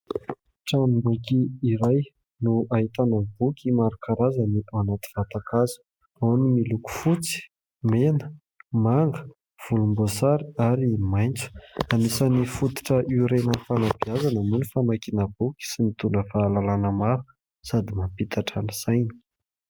Tranom-boky iray no ahitana boky maro isan-karazany ao anaty vatan-kazo. Ao ny miloko fotsy, mena, manga, volom-boasary, ary maitso. Anisan'ny fototra iorenan'ny fanabeazana moa ny famakiana boky, sy mitondra fahalalàna maro, sady mampihitatra ny saina.